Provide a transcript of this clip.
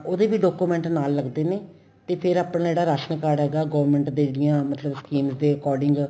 ਉਹਦੇ ਵੀ document ਨਾਲ ਲੱਗਦੇ ਨੇ ਤੇ ਫੇਰ ਆਪਣਾ ਜਿਹੜਾ ਰਾਸ਼ਣ card ਹੈਗਾ government ਦੇ ਜਿਹੜੀਆਂ ਮਤਲਬ schemes ਦੇ according